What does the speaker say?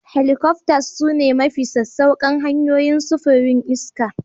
Helicopters sune mafi sassauƙan hanyoyin sufurin iska